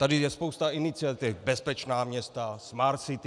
Tady je spousta iniciativ: Bezpečná města, Smart City.